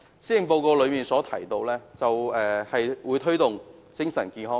施政報告提出會推動精神健康。